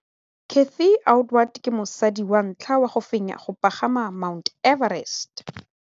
Cathy Odowd ke mosadi wa ntlha wa go fenya go pagama ga Mt Everest.